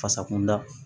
Fasa kunda